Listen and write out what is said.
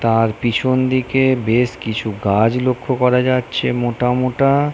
তার পিছন দিকে বেশ কিছু গাছ লক্ষ্য করা যাচ্ছে মোটা মোটা।